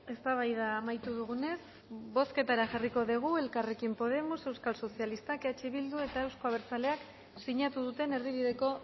eztabaida amaitu dugunez bozketara jarriko dugu elkarrekin podemos euskal sozialistak eh bilduk eta euzko abertzaleak sinatu duten erdibideko